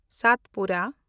Satpura